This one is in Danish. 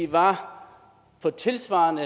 var på tilsvarende